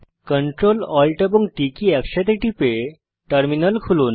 Ctrl Alt এবং T key একসাথে টিপে টার্মিনাল খুলুন